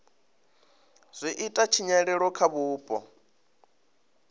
zwi ita tshinyalelo kha vhupo